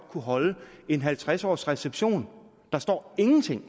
kunne holde en halvtreds årsreception der står ingenting